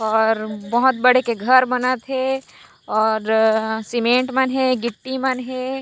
और बहोत बड़े के घर बनत हे और सीमेंट मन हे गिट्टी मन हे।